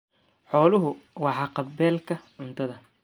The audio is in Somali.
Xooluhu waa haqab-beelka cuntada.